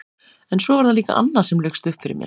En svo var það líka annað sem laukst upp fyrir mér.